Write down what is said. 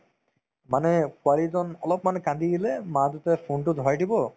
মানে পোৱালিজন অলপমান কান্দি দিলে মাক-দেউতাকে phone তো ধৰাই দিব